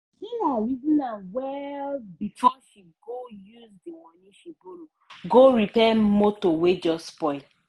sarah reason am well before she go use di money she borrow go repair motor wey just spoil.